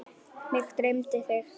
Mig dreymdi þig.